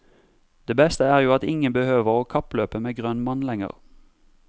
Det beste er jo at ingen behøver å kappløpe med grønn mann lenger.